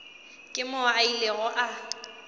ke moo a ilego a